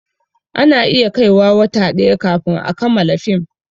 Ana iya kai wa wata ɗaya kafin a kamala fim